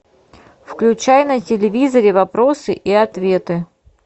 включай на телевизоре вопросы и ответы